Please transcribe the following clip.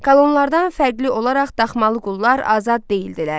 Kolonlardan fərqli olaraq daxmalı qullar azad deyildilər.